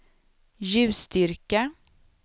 ljusstyrka